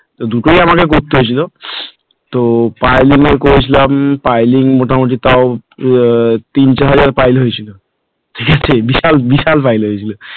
দুটোই আমাকে দেখতে হয়েছিল তো piling এ করেছিলাম মটামুটি তাও তিন চার হাজার piling ছিল বিশাল বিশাল বাড়ি হয়েছিল,